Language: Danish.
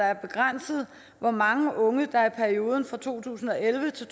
er begrænset hvor mange unge der i perioden to tusind og elleve til